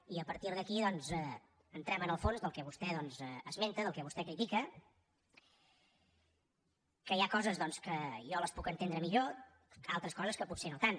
i a partir d’aquí doncs entrem en el fons del que vostè esmenta del que vostè critica que hi ha coses doncs que jo les puc entendre millor altres coses que potser no tant